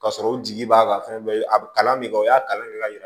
Ka sɔrɔ u jigi b'a kan a kalan bɛ kɛ o y'a kalan de ka yira